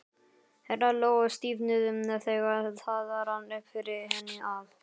Herðar Lóu stífnuðu þegar það rann upp fyrir henni að